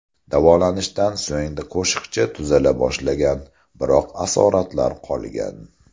Davolanishdan so‘ng qo‘shiqchi tuzala boshlagan, biroq asoratlar qolgan.